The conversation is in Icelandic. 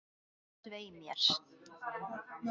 Svei mér.